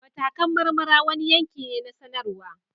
Matakan marmara wani yanki ne na sanarwa